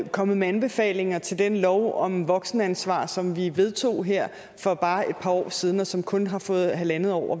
er kommet med anbefalinger til den lov om voksenansvar som vi vedtog her for bare et par år siden og som kun har fået halvandet år